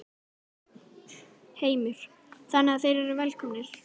Heimir: Þannig að þeir eru velkomnir?